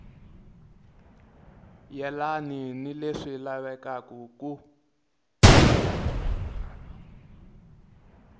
yelani ni leswi lavekaka ku